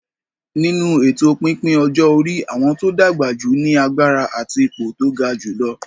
Nínú èto pípín ọjọ́ orí, àwọn tó dàgbà jù ní agbára àti ipò tó ga jùlọ.